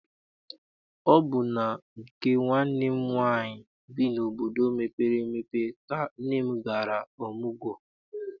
Ọ bụ na nke nwanne m nwaanyị bi n'obodo mepere emepe ka nne m gara ọmụgwọ.